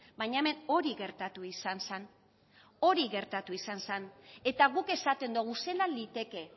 baina hemen hori gertatu izan zan eta guk esaten dogu zelan liteke